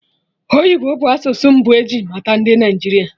Oyibo bụ asụsụ mbụ eji mata ndị Naịjirịa